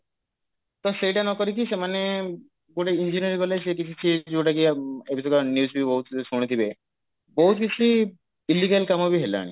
ତ ସେଇଟା ନକରିକି ସେମାନେ ଗୋଟେ engineering college ସେଇଠି ବି ସିଏ ଯଉଟା କି ଅ news ବି ବହୁତ ଶୁଣିଥିବେ ବହୁତ କିଛି illegal କାମ ବି ହେଲାଣି